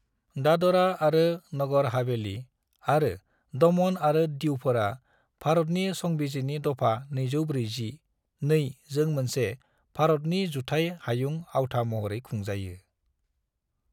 दादरा आरो नगर हवेली आरो दमन आरो दीवफोरा भारतनि संबिजिरनि दफा 240 (2) जों मोनसे भारतनि जुथाय हायुं आवथा महरै खुंजायो।